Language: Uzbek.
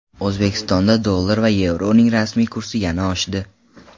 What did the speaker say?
O‘zbekistonda dollar va yevroning rasmiy kursi yana oshdi.